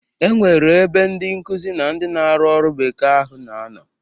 E nwere ebe ndi nkuzi na ndị na-arụ ọru bekee ahụ na-anọ.